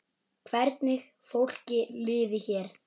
Hvernig fólki liði hér.